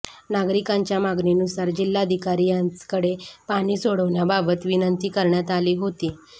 नागरिकांच्या मागणीनुसार जिल्हाधिकारी यांचेकडे पाणी सोडण्याबाबत विनंती करण्यात आली होती